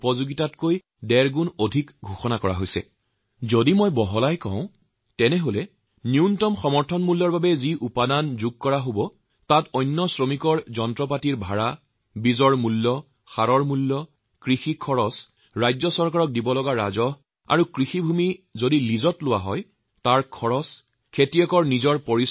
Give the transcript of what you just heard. যদি মই বিস্তৃতভাৱে কওঁ তেতিয়াহলে MSPৰ বাবে যি ব্যয় কৰা হব তাত অন্য শ্ৰমিক যিসকলে পৰিশ্ৰম কৰে তেওঁলোকৰ পৰিশ্ৰম পোহনীয়া জন্তুৰ ব্যয় যন্ত্ৰপাতিৰ খৰচ অথবা ভাড়াত লোৱা যন্ত্ৰ জন্তুৰ ব্যয় বীজৰ মূল্য ব্যৱহাৰ কৰা হৈছে এনে সকলো ধৰণৰ সাৰৰ দাম জলসিঞ্চনৰ খৰচ ৰাজ্য চৰকাৰক দিয়া ৰাজহ কাৰ্যকৰী মূলধনৰ ওপৰত দিয়া সুদ যদি ভূমি লিজত লোৱা হয় তেতিয়া হলে তাৰ ভাড়া ইত্যাদি